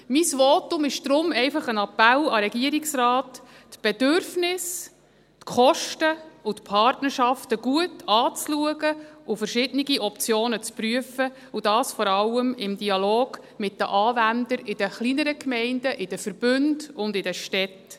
Mein Votum ist deshalb einfach ein Appell an den Regierungsrat, die Bedürfnisse, die Kosten und die Partnerschaften gut anzuschauen und verschiedene Optionen zu prüfen – und das vor allem im Dialog mit den Anwendern in den kleineren Gemeinden, in den Verbünden und in den Städten.